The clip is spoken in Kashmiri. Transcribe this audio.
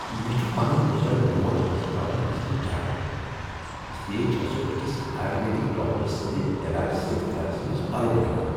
مےٚ چھ پنٕنۍ بزرگ موج ہسپتال نِنَس منٛز ڈر، اس لیے چھےٚ سَہ أکِس آیوروید ڈاکٹر سٕندِ علاج سۭتۍ گرس منٛز بلُن ہیوان ۔